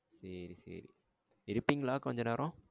சரி சரி. இருப்பிங்களா கொஞ்சம் நேரம்?